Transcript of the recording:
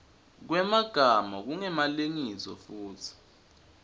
kwemagama kungemalengiso futsi